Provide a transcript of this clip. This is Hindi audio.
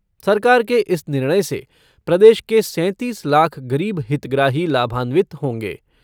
सरकार के इस निर्णय से प्रदेश के सैंतीस लाख गरीब हितग्राही लाभान्वित होंगे।